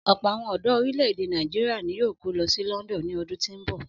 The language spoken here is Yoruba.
Ọ̀pọ̀ àwọn ọ̀dọ orílè-èdè Nàìjíríà ni yóò kó lọ sí London ní ọdún tí ń bọ̀.